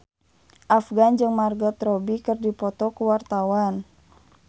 Afgan jeung Margot Robbie keur dipoto ku wartawan